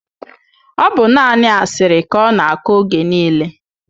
Ọ bụ naanị asịrị ka ọ na-akọ oge niile